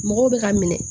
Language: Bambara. Mɔgɔw bɛ ka minɛ